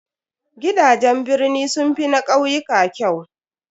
Gidajen birni sun fi na ƙauyuka kyau.